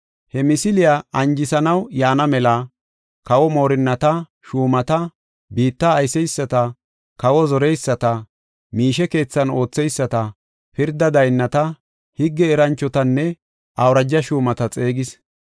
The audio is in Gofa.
He misiliya anjisanaw yaana mela, kawo moorinnata, shuumata, biitta ayseysata, kawa zoreyisata, miishe keethan ootheyisata, pirda daynnata, higge eranchotanne awuraja shuumata xeegis.